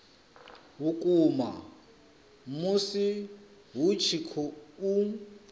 vhukuma musi hu tshi khou